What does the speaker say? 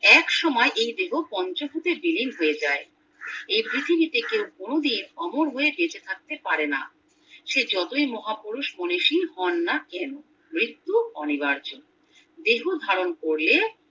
একসময় এই দেহ পঞ্চবুতে বিলীন হয়ে যায় এই পৃথিবীতে কেউ কোনো দিন অমর হয়ে বেঁচে থাকতে পারে না সে যতই মহাপুরুষ মনীষী হননা কোনো মৃত্যু অনিবার্য দেহ ধারণ করলে